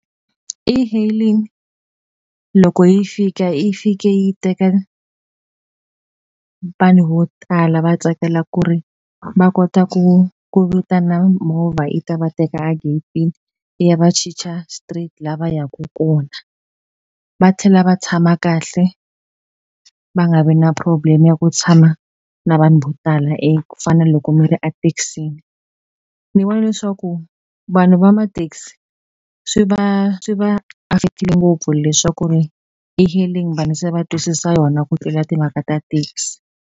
E-hailing loko yi fika yi fike yi teka vanhu vo tala va tsakela ku ri va kota ku ku vitana movha yi ta va teka a getini yi ya va chicha straight la va yaku kona va tlhela va tshama kahle va nga vi na problem ya ku tshama na vanhu vo tala ku fana na loko mi ri a tekisini ni vona leswaku vanhu va matekisi swi va swi va affect-ile ngopfu leswaku ri e-hailing vanhu se va twisisa yona ku tlula timhaka ta taxi.